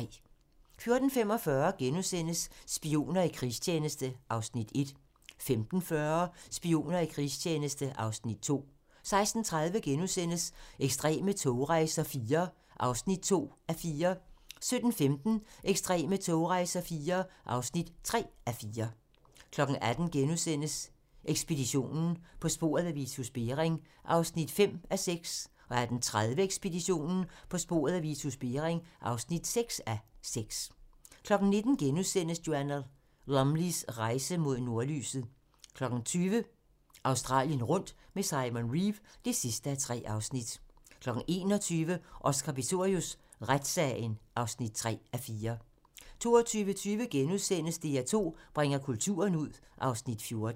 14:45: Spioner i krigstjeneste (Afs. 1)* 15:40: Spioner i krigstjeneste (Afs. 2) 16:30: Ekstreme togrejser IV (2:4)* 17:15: Ekstreme togrejser IV (3:4) 18:00: Ekspeditionen - På sporet af Vitus Bering (5:6)* 18:30: Ekspeditionen - På sporet af Vitus Bering (6:6) 19:00: Joanna Lumleys rejse mod nordlyset * 20:00: Australien rundt med Simon Reeve (3:3) 21:00: Oscar Pistorius: Retssagen (3:4) 22:20: DR2 bringer kulturen ud (Afs. 14)*